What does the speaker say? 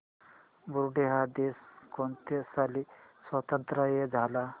Burundi हा देश कोणत्या साली स्वातंत्र्य झाला